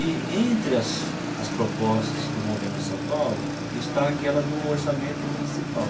E entre as as propostas do Movimento Nossa São Paulo, está aquela do orçamento municipal.